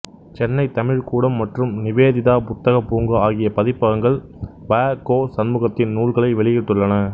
சென்னை தமிழ்க்கூடம் மற்றும் நிவேதிதா புத்தகப்பூங்கா ஆகிய பதிப்பகங்கள் வ கோ சண்முகத்தின் நூல்களை வெளியிட்டுள்ளன